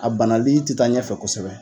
A banali tɛ taa ɲɛfɛ kosɛbɛ